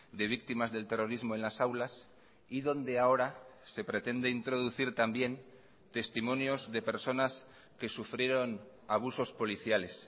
de víctimas del terrorismo en las aulas y donde ahora se pretende introducir también testimonios de personas que sufrieron abusos policiales